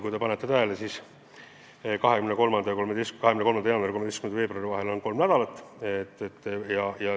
Kui te panete tähele, siis 23. jaanuari ja 13. veebruari vahel on kolm nädalat.